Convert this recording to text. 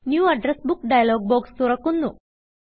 new address book dialog box തുറക്കു ന്നു